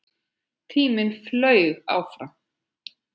Tíminn flaug áfram.